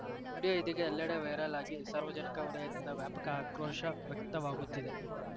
video ಇದೀಗ ಎಲ್ಲೆಡೆ viral ಆಗಿ ಸಾರ್ವಜನಿಕ ವಲಯದಿಂದ ವ್ಯಾಪಕ ಆಕ್ರೋಶ ವ್ಯಕ್ತವಾಗುತ್ತಿದೆ